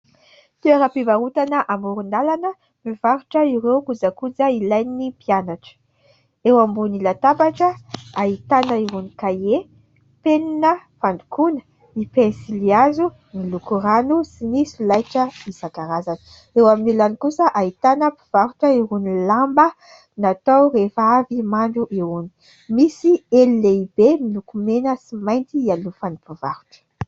Toeram-pivarotana amoron-dalana mivarotra ireo kozakoja ilain'ny mpianatra. Eo ambony latabatra ahitana irony kahie, penina, fandokoana, ny pensilihazo, ny loko rano sy ny solaitra isankarazany ; eo amin'ny ilany kosa ahitana mpivarotra irony lamba natao rehefa avy mandro irony ; misy elo lehibe miloko mena sy mainty hialofan'ny mpivarotra.